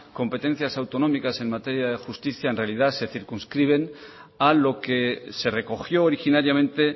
competencias autonómicas en materia de justicia en realidad se circunscriben a lo que se recogió originariamente